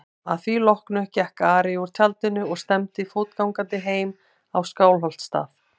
Að því loknu gekk Ari úr tjaldinu og stefndi fótgangandi heim á Skálholtsstað.